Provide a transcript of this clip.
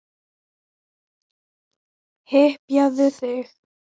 Hypjaðu þig.